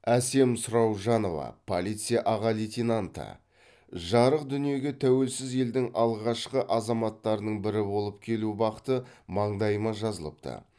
әсем сұраужанова полиция аға лейтенанты жарық дүниеге тәуелсіз елдің алғашқы азаматтарының бірі болып келу бақыты маңдайыма жазылыпты